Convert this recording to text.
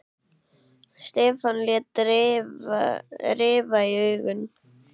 Stefán lét rifa í augun.